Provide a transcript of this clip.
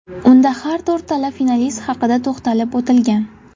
Unda har to‘rtala finalist haqida to‘xtalib o‘tilgan.